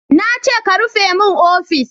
Na ce ka rufe min ofis!